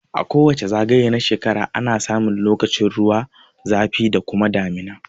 A kowace zagaye na shrekara ana samun lokacin ruwa lokacin zafi da kuma damuna